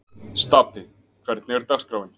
Stapi, hvernig er dagskráin?